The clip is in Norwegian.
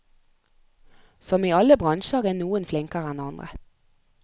Som i alle bransjer er noen flinkere enn andre.